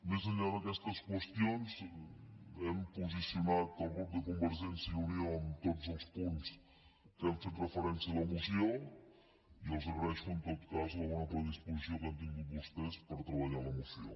més enllà d’aquestes qüestions hem posicionat el grup de convergència i unió en tots els punts que hem fet referència a la moció i els agraeixo en tot cas la bona predisposició que han tingut vostès per treballar la moció